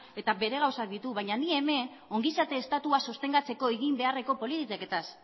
eta bere gauzak ditu baina ni hemen ongizate estatua sostengatzeko egin beharreko politiketaz